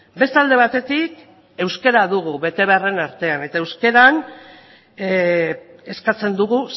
beste alde batetik euskera dugu betebeharren artean eta euskeran eskatzen dugu